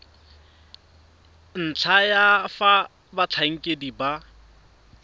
ntlha ya fa batlhankedi ba